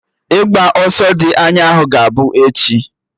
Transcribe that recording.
Ịgba ọsọ dị anya ahụ ga-abụ echi